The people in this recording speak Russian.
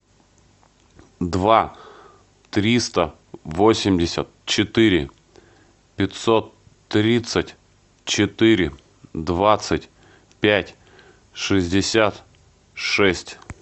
два триста восемьдесят четыре пятьсот тридцать четыре двадцать пять шестьдесят шесть